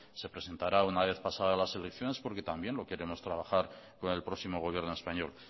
se presentará una vez pasada las elecciones porque también lo queremos trabajar con el próximo gobierno español